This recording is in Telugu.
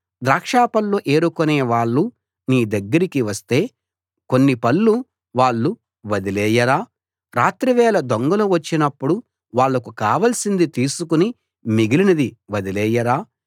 ద్రాక్షపళ్ళు ఏరుకునే వాళ్ళు నీ దగ్గరికి వస్తే కొన్ని పళ్ళు వాళ్ళు వదిలేయరా రాత్రి వేళ దొంగలు వచ్చినప్పుడు వాళ్లకు కావాల్సింది తీసుకుని మిగిలినది వదిలేయరా